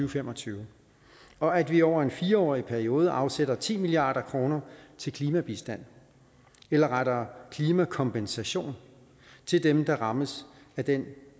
og fem og tyve og at vi over en fire årig periode afsætter ti milliard kroner til klimabistand eller rettere klimakompensation til dem der rammes af den